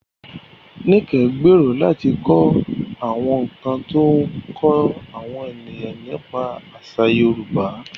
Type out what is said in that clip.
Nike gbèrò láti kọ àwọn nkan tí ó ń kọ́ àwọn ènìyàn nípa àṣà Yorùbá.